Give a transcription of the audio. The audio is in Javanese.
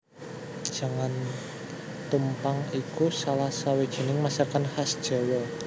Jangan tumpang iku salah sawijining masakan khas Jawa